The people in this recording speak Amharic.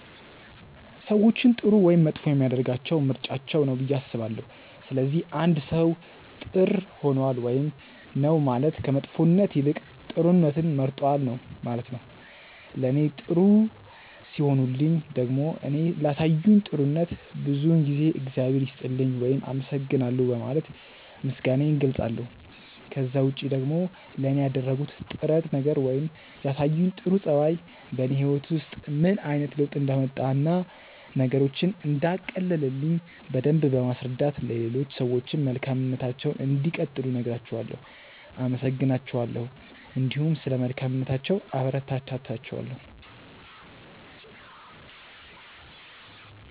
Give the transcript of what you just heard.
ሰዎችን ጥሩ ወይም መጥፎ የሚያደርጋቸው ምርጫቸው ነው ብዬ አስባለሁ። ስለዚህ አንድ ሰው ጥር ሆኗል ውይም ነው ማለት ከመጥፎነት ይልቅ ጥሩነትን መርጧል ነው ማለት ነው። ለኔ ጥሩ ሲሆኑልኝ ደግሞ እኔ ላሳዩኝ ጥሩነት ብዙውን ጊዜ እግዚአብሔር ይስጥልኝ ውይም አመሰግናለሁ በማለት ምስጋናዬን እገልጻለሁ። ከዛ ውጪ ደግሞ ለኔ ያደረጉት ጥረት ነገር ወይም ያሳዩኝ ጥሩ ጸባይ በኔ ህይወት ውስጥ ምን አይነት ለውጥ እንዳመጣ እና ነገሮችን እንዳቀለለልኝ በደምብ በማስረዳት ለሌሎች ሰዎችም መልካምነታቸውን እንዲቀጥሉ እነግራቸዋለው፣ አመሰግናቸዋለሁ እንዲሁም ስለ መልካምነታቸው አበረታታቸዋለሁ።